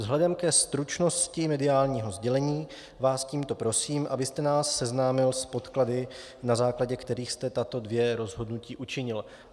Vzhledem ke stručnosti mediálního sdělení vás tímto prosím, abyste nás seznámil s podklady, na základě kterých jste tato dvě rozhodnutí učinil.